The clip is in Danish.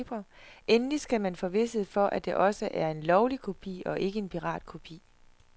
Endelig skal man få vished for, at det også er en lovlig kopi og ikke en piratkopi.